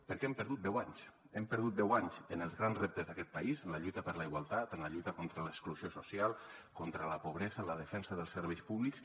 perquè hem perdut deu anys hem perdut deu anys en els grans reptes d’aquest país en la lluita per la igualtat en la lluita contra l’exclusió social contra la pobresa en la defensa dels serveis públics